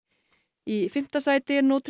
í fimmta sæti er